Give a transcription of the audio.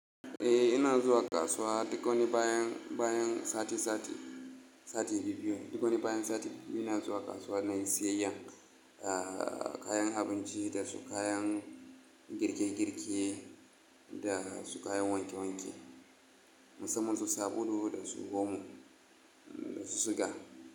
Eh ina zuwa kasuwa duk wani bayan, bayan sati, sati, sati biyu biyu. Duk wani bayan sati biyu ina zuwa kasuwa na yi siyayyan kayan abinci da su kayan girke girke da su kayan wanke wanke, musamman su sabulu da su omo da su suga.